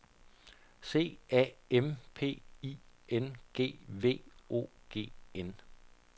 C A M P I N G V O G N